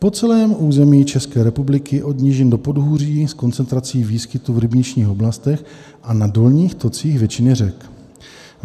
Po celém území České republiky od nížin do podhůří s koncentrací výskytu v rybničních oblastech a na dolních tocích větších řek.